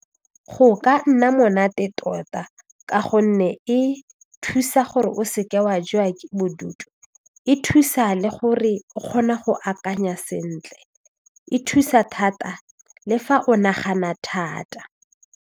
Go ka nna monate tota ka gonne e thusa gore o se ke wa jewa ke bodutu e thusa le gore o kgona go akanya sentle e thusa thata le fa o nagana thata.